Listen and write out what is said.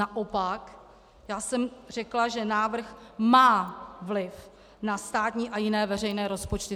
Naopak já jsem řekla, že návrh má vliv na státní a jiné veřejné rozpočty.